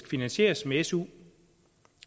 finansieres med su